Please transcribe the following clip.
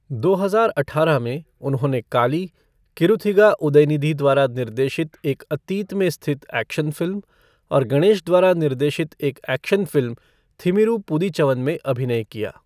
दो हजार अठारह में, उन्होंने काली, किरुथिगा उदयनिधि द्वारा निर्देशित एक अतीत में स्थित एक्शन फ़िल्म, और गणेश द्वारा निर्देशित एक एक्शन फ़िल्म थिमिरु पुदीचवन में अभिनय किया।